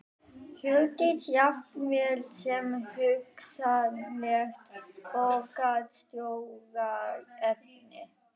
Hjördís: Jafnvel sem hugsanlegt borgarstjóraefni?